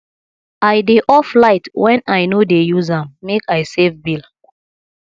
i dey off light wen i no dey use am make i save bill